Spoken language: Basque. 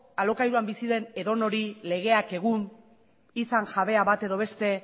alokairuan bizi den edonori legeak egun izan jabea bat edo beste